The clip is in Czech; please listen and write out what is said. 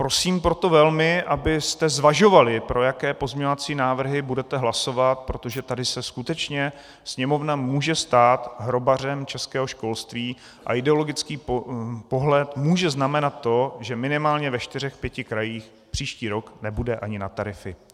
Prosím proto velmi, abyste zvažovali, pro jaké pozměňovací návrhy budete hlasovat, protože tady se skutečně Sněmovna může stát hrobařem českého školství a ideologický pohled může znamenat to, že minimálně ve čtyřech pěti krajích příští rok nebude ani na tarify.